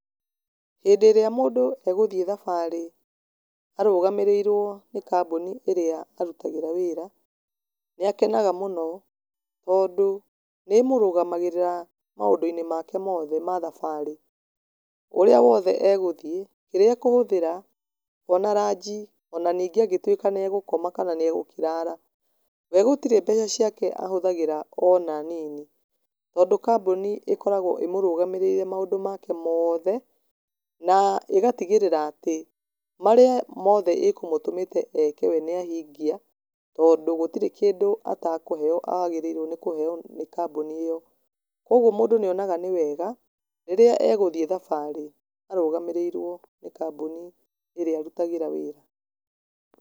Hĩndĩ ĩrĩa mũndũ egũthiĩ thabarĩ arũgamĩrĩirwo nĩ kambuni ĩrĩa arutagĩra wĩra, nĩ akenaga mũno, tondũ nĩmũrũgamagĩrĩra maũndũ-inĩ make mothe ma thabarĩ. Ũrĩa wothe egũthiĩ, kĩrĩa ekũhũthĩra, ona ranji, ona ningĩ angĩtuĩka nĩ egũkoma kana nĩegũkĩrara, we gũtirĩ mbeca ciake ahũthagĩra ona nini, tondũ kambuni ĩkoragwo ĩmũrũgamĩrĩire maũndũ make mothe, na ĩgatigĩrĩra atĩ marĩa mothe ĩkũmũtũmĩte eke we nĩahingia, tondũ gũtirĩ kĩndũ atakũheywo agĩrĩirwo nĩkũheywo nĩ kambuni ĩyo. Kwoguo mũndũ nĩ onaga nĩ wega rĩrĩa egũthiĩ thabarĩ arũgamĩrĩirwo nĩ kambuni ĩrĩa arutagĩra wĩra.